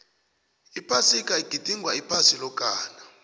iphasiga igidingwa iphasi lokana